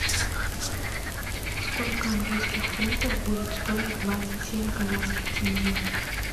сколько английских фунтов будет стоить двадцать семь казахских тенге